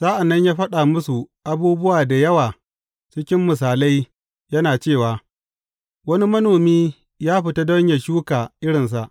Sa’an nan ya faɗa musu abubuwa da yawa cikin misalai, yana cewa, Wani manomi ya fita don yă shuka irinsa.